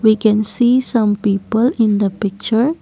we can see some people in the picture.